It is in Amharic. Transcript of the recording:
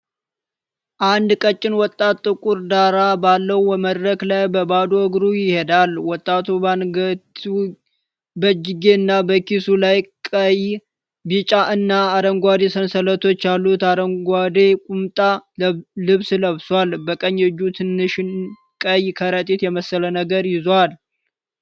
አንድ ቀጭን ወጣት ጥቁር ዳራ ባለው መድረክ ላይ በባዶ እግሩ ይሄዳል። ወጣቱ በአንገቱጌ፣ በእጁጌ እና በኪሱ ላይ ቀይ፣ ቢጫ እና አረንጓዴ ሰንሰለቶች ያሉት አረንጓዴ ቁምጣ ልብስ ለብሷል። በቀኝ እጁ ትናንሽ ቀይ ከረጢት የመሰለ ነገር ይዟል።